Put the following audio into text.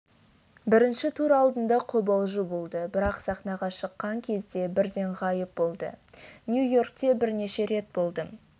бірінші тур алдында қобалжу болды бірақ сахнаға шыққан кезде бірден ғайып болды нью-йоркте бірнеше рет болдым